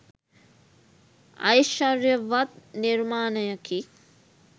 ඓශ්චර්යවත් නිර්මාණයකි.